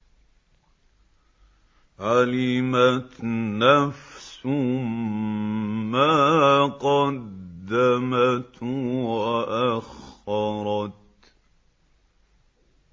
عَلِمَتْ نَفْسٌ مَّا قَدَّمَتْ وَأَخَّرَتْ